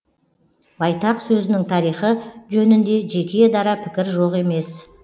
байтақ сөзінің тарихы жөнінде жеке дара пікір жоқ емес